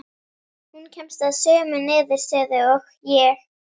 Hún kemst að sömu niðurstöðu og ég.